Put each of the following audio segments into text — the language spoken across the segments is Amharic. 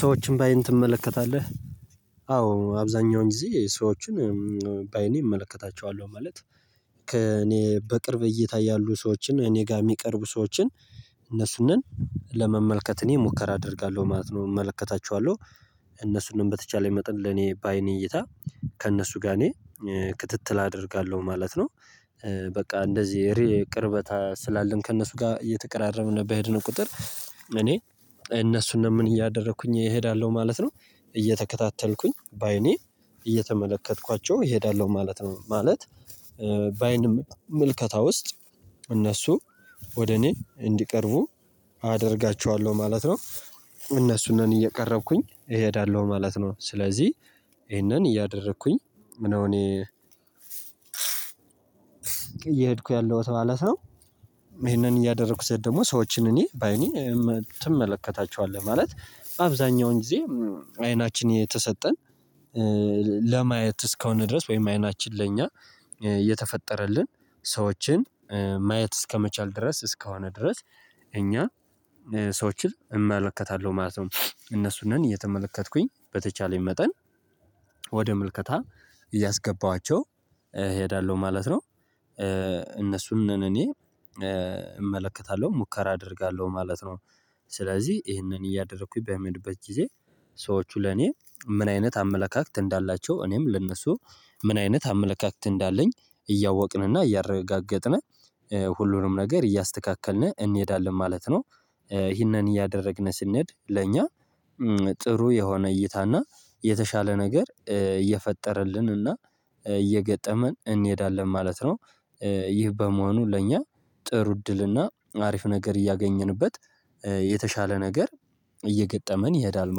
ሰዎችን በአይን ትመለከታለህ? አዎ አብዛኛውን ጊዜ ሰዎችን በአይኔ እመለከታቸዋለሁ ማለት ከእኔ በቅርብ እይታ ያሉ ሰዎችን እኔ ጋር የሚቀርቡ ሰዎችን እነሱነን ለመመልከት እኔ ሙከራ አደርጋለሁ ማለት ነው። እመለከታቸዋለሁ እነሱንም በተቻለ መጠን ለኔ ባይኔ እይታ ከእነሱ ጋር እኔ ክትትል አደርጋለሁ ማለት ነው። በቃ እንደዚህ እሬ ቅርበት ስላለን ከእነሱ ጋር እየተቀራረብን በሄድነው ቁጥር እኔ እነሱንም ምን እያደረኩኝ እሄዳለሁ ማለት ነው። እየተከታተልኩኝ ባይኔ እየተመለከትኳቸው እሄዳለሁ ማለት ነው። ማለት በአይን ምልከታ ውስጥ እነሱ ወደ እኔ እንዲቀርቡ አደርጋቸዋለሁ ማለት ነው። እነሱንም እየቀረብኩኝ እሄዳለሁ ማለት ነው። ስለዚህ ይሄንን እያደረኩኝ ነው እኔ እየሄድኩ ያለው ማለት ነው። ይሄንን እያደረኩት ስሄድ ደግሞ ሰዎችን እኔ ባይኔ ትመለከታቸዋለህ ማለት አብዛኛውን ጊዜ? አይናችን የተሰጠን ለማየት እስከሆነ ድረስ ወይም አይናችን ለእኛ እየተፈጠረልን ሰዎችን ማየት እስከመቻል ድረስ እስከሆነ ድረስ እኛ ሰዎችን እመለከታለሁ ማለት ነው። እነሱን ነን እየተመለከትኩኝ በተቻለኝ መጠን ወደ ምልከታ እያስገባኋቸው እሄዳለሁ ማለት ነው። እነሱን ነን እኔ እመለከታለሁ ሙከራ አደርጋለሁ ማለት ነው። ስለዚህ ይሄንን እያደረኩኝ በምሄድበት ጊዜ ሰዎቹ ለኔ ምን አይነት አመለካከት እንዳላቸው እኔም ለእነሱ ምን አይነት አመለካከት እንዳለኝ እያወቅንና እያረጋገጥነ ሁሉንም ነገር እያስተካከልነ እንሄዳለን ማለት ነው። ይህንን እያደረግነ ስንሄድ ለእኛ ጥሩ የሆነ እይታና የተሻለ ነገር እየፈጠረልንና እየገጠመን እንሄዳለን ማለት ነው። ይህ በመሆኑ ለእኛ ጥሩ እድልና አሪፍ ነገር እያገኘንበት የተሻለ ነገር እየገጠመን ይሄዳል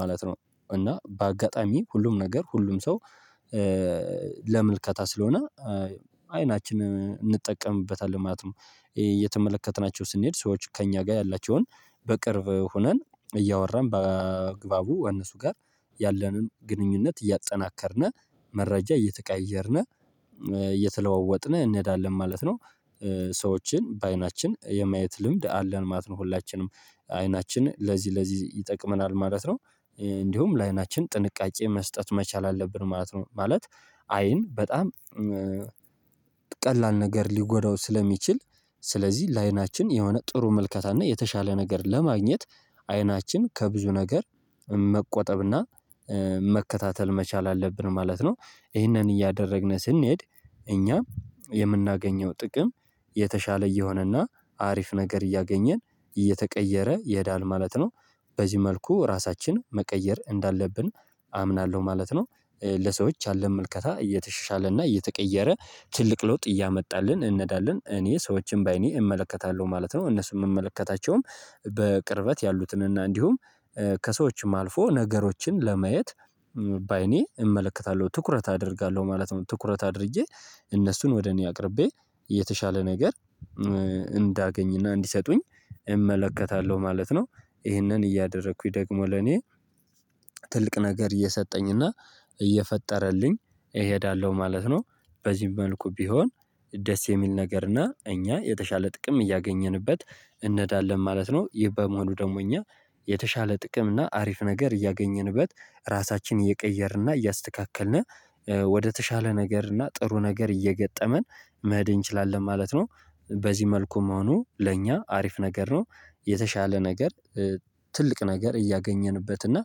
ማለት ነው። እና በአጋጣሚ ሁሉም ነገር ሁሉም ሰው ለምልከታ ስለሆነ አይናችን እንጠቀምበታለን ማለት ነው። እየተመለከትናቸው ስንሄድ ሰዎች ከእኛ ጋር ያላቸውን በቅርብ ሆነን እያወራን በአግባቡ እነሱ ጋር ያለንን ግንኙነት እያጠናከርነ መረጃ እየተቀያየርነ እየተለዋወጥነ እንሄዳለን ማለት ነው። ሰዎችን በአይናችን የማየት ልምድ አለን ማለት ነው። ሁላችንም አይናችን ለዚህ ለዚህ ይጠቅመናል ማለት ነው። እንዲሁም ለአይናችን ጥንቃቄ መስጠት መቻል አለብን ማለት ነው። ማለት አይን በጣም ቀላል ነገር ሊጎዳው ስለሚችል ስለዚህ ለአይናችን የሆነ ጥሩ ምልከታ እና የተሻለ ነገር ለማግኘት አይናችን ከብዙ ነገር መቆጠብ እና መከታተል መቻል አለብን ማለት ነው። ይህንን እያደረግነ ስንሄድ እኛ የምናገኘው ጥቅም የተሻለ እየሆነና አሪፍ ነገር እያገኘን እየተቀየረ ይሄዳል ማለት ነው። በዚህ መልኩ ራሳችን መቀየር እንዳለብን አምናለሁ ማለት ነው። ለሰዎች ያለን መልከታ እየተሻሻለና እየተቀየረ ትልቅ ለውጥ እያመጣልን እንነዳለን እኔ ሰዎችን በአይኔ እመለከታለሁ ማለት ነው። እነሱ የምመለከታቸውም በቅርበት ያሉትንና እንዲሁም ከሰዎችም አልፎ ነገሮችን ለማየት ባይኔ እመለከታለሁ ትኩረት አደርጋለሁ ማለት ነው። ትኩረት አድርጌ እነሱን ወደ እኔ አቅርቤ የተሻለ ነገር እንዳገኝና እንዲሰጡኝ እመለከታለሁ ማለት ነው። ይሄንን እያደረኩኝ ደግሞ ለኔ ትልቅ ነገር እየሰጠኝና እየፈጠረልኝ እሄዳለሁ ማለት ነው። በዚህም መልኩ ቢሆን ደስ የሚል ነገር እና እኛ የተሻለ ጥቅም እያገኘንበት እንሄዳለን ማለት ነው። ይህ በመሆኑ ደግሞ እኛ የተሻለ ጥቅም እና አሪፍ ነገር እያገኘንበት ራሳችንን እየቀየርን እና እያስተካከልንነ ወደተሻለ ነገር እና ጥሩ ነገር እየገጠመን መሄድ እንችላለን ማለት ነው። በዚህ መልኩ መሆኑ ለእኛ አሪፍ ነገር ነው። የተሻለ ነገር ትልቅ ነገር እያገኘንበት እና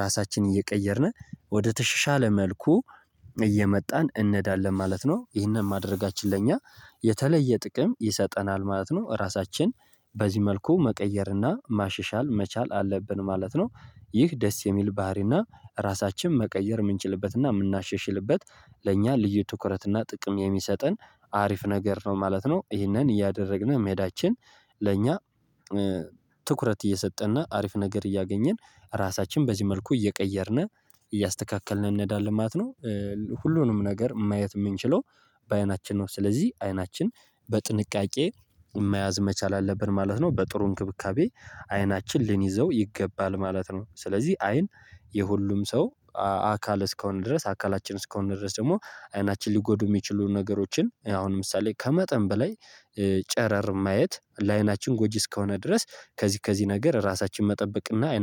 ራሳችንን እየቀየርነ ወደ ተሸሻለ መልኩ እየመጣን እንዳለን ማለት ነው። ይህንን ማድረጋችን ለእኛ የተለየ ጥቅም ይሰጠናል ማለት ነው። ራሳችን በዚህ መልኩ መቀየርና ማሸሻል መቻል አለብን ማለት ነው። ይህ ደስ የሚል ባህሪና ራሳችን መቀየር የምንችልበትና የምናሸሽልበት ለእኛ ልዩ ትኩረትና ጥቅም የሚሰጠን አሪፍ ነገር ነው ማለት ነው። ይህንን እያደረግን መሄዳችን ለእኛ ትኩረት እየሰጠንና አሪፍ ነገር እያገኘን ራሳችን በዚህ መልኩ እየቀየርነ እያስተካከልነ እንሄዳለን ማለት ነው። ሁሉንም ነገር ማየት የምንችለው በአይናችን ነው ስለዚህ አይናችን በጥንቃቄ መያዝ መቻል አለብን ማለት ነው። በጥሩ እንክብካቤ አይናችን ልንይዘው ይገባል ማለት ነው። ስለዚህ አይን የሁሉም ሰው አካል እስከሆነ ድረስ አካላችን እስከሆነ ድረስ ደግሞ አይናችን ሊጎዱ የሚችሉ ነገሮችን አሁን ለምሳሌ ከመጠን በላይ ጨረር ማየት ለአይናችን ጎጂ እስከሆነ ድረስ ከዚህ ከዚህ ነገር ራሳችን መጠበቅና አይናችን